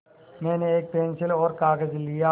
मैंने एक पेन्सिल और कागज़ लिया